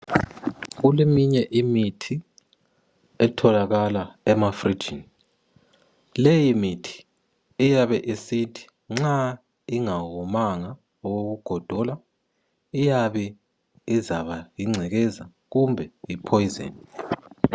Kuleminye imithi etholakala emafrijini leyi mithi iyabe isithi nxa ingawomanga okoku godola iyabe izaba yingcekeza kumbe iphoyizeni.